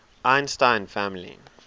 einstein family